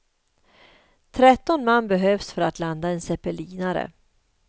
Tretton man behövs för att landa en zeppelinare.